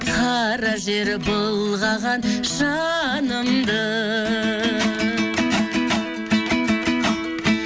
қара жер былғаған жанымды